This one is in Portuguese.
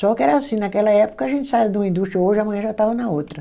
Só que era assim, naquela época a gente saía de uma indústria, hoje, amanhã já estava na outra.